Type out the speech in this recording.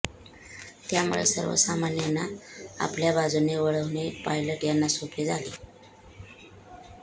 त्यामुळे सर्वसामान्यांना आपल्या बाजूने वळविणे पायलट यांना सोपे झाले